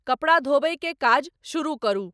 कपड़ा धोबय के काज शुरू करू